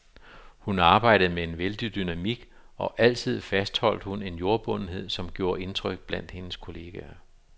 Hun arbejdede med en vældig dynamik, og altid fastholdt hun en jordbundethed, som gjorde indtryk blandt hendes kolleger.